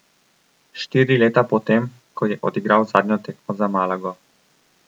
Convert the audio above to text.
Štiri leta po tem, ko je odigral zadnjo tekmo za Malago.